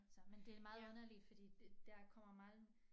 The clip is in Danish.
Så men det meget underligt fordi der kommer meget